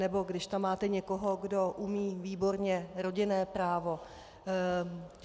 Nebo když tam máte někoho, kdo umí výborně rodinné právo.